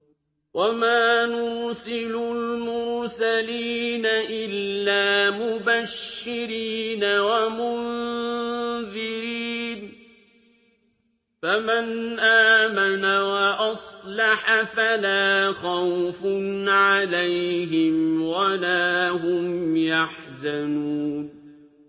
وَمَا نُرْسِلُ الْمُرْسَلِينَ إِلَّا مُبَشِّرِينَ وَمُنذِرِينَ ۖ فَمَنْ آمَنَ وَأَصْلَحَ فَلَا خَوْفٌ عَلَيْهِمْ وَلَا هُمْ يَحْزَنُونَ